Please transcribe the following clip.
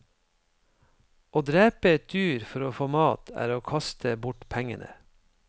Å drepe et dyr for å få mat, er å kaste bort pengene.